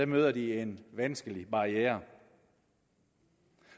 møder de en vanskelig barriere